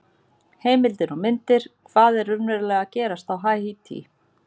Heimildir og myndir: Hvað er raunverulega að gerast á Haítí?